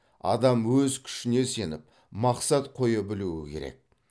адам өз күшіне сеніп мақсат қоя білуі керек